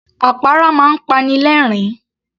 Àpárá máa ń pani lẹ̀ẹ́rín